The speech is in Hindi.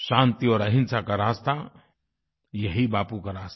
शांति और अहिंसा का रास्ता यही बापू का रास्ता